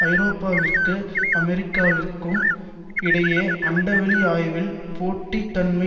ஐரோப்பாவிற்கும் அமெரிக்காவிற்கும் இடையே அண்டவெளி ஆய்வில் போட்டி தன்மை